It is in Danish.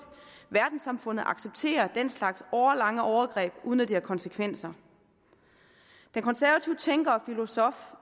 verdenssamfundet accepterer den slags årelange overgreb uden at det har konsekvenser den konservative tænker og filosof